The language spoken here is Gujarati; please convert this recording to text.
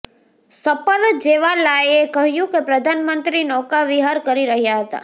સપરજેવાલાએ કહ્યુ કે પ્રધાનમંત્રી નૌકા વિહાર કરી રહ્યા હતા